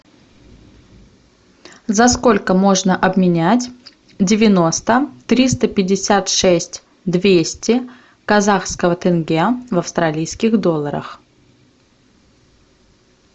за сколько можно обменять девяносто триста пятьдесят шесть двести казахского тенге в австралийских долларах